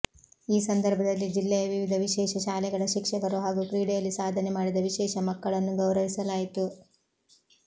ಈ ಸಂದರ್ಭ ದಲ್ಲಿ ಜಿಲ್ಲೆಯ ವಿವಿಧ ವಿಶೇಷ ಶಾಲೆಗಳ ಶಿಕ್ಷಕರು ಹಾಗೂ ಕ್ರೀಡೆಯಲ್ಲಿ ಸಾಧನೆ ಮಾಡಿದ ವಿಶೇಷ ಮಕ್ಕಳನ್ನು ಗೌರವಿಸಲಾಯಿತು